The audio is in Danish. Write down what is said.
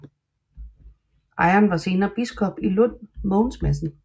Ejeren var senere biskop i Lund Mogens Madsen